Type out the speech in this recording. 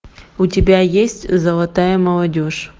у тебя есть золотая молодежь